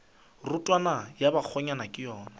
rotwane ya bakgonyana ke yona